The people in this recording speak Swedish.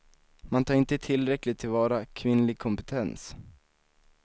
Man tar inte tillräckligt tillvara kvinnlig kompetens.